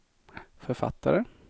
författare